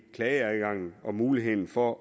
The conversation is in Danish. klageadgangen og muligheden for